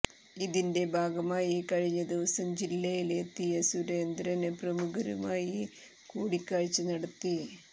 ഇതിന്റെ ഭാഗമായി കഴിഞ്ഞ ദിവസം ജില്ലയില് എത്തിയ സുരേന്ദ്രന് പ്രമുഖരുമായി കൂടിക്കാഴ്ച നടത്തി